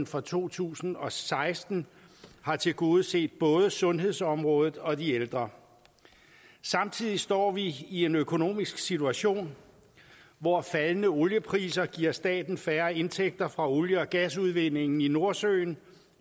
for to tusind og seksten har tilgodeset både sundhedsområdet og de ældre samtidig står vi i en økonomisk situation hvor faldende oliepriser giver staten færre indtægter fra olie og gasudvindingen i nordsøen